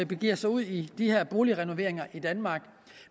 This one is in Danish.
begiver sig ud i de her boligrenoveringer i danmark